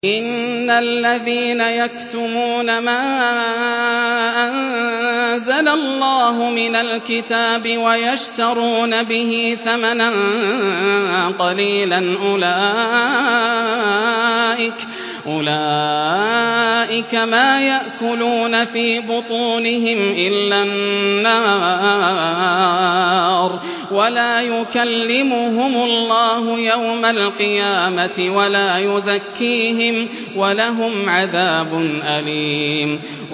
إِنَّ الَّذِينَ يَكْتُمُونَ مَا أَنزَلَ اللَّهُ مِنَ الْكِتَابِ وَيَشْتَرُونَ بِهِ ثَمَنًا قَلِيلًا ۙ أُولَٰئِكَ مَا يَأْكُلُونَ فِي بُطُونِهِمْ إِلَّا النَّارَ وَلَا يُكَلِّمُهُمُ اللَّهُ يَوْمَ الْقِيَامَةِ وَلَا يُزَكِّيهِمْ وَلَهُمْ عَذَابٌ أَلِيمٌ